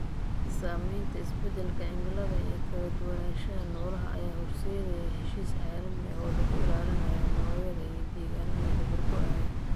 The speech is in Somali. Saamaynta isbeddelka cimilada ee kala duwanaanshaha noolaha ayaa horseedaya heshiis caalami ah oo lagu ilaalinayo noocyada iyo deegaannada dabar-go'aya.